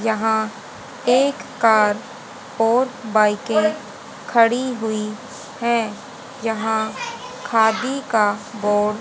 यहां एक कार और बाईकें खड़ी हुई है यहां खादि का बोड --